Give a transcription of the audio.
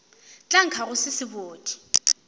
tla nkga go se sebodi